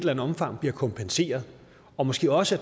andet omfang bliver kompenseret og måske også at